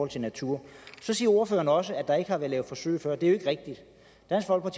til natur så siger ordføreren også at der ikke har været lavet forsøg før det er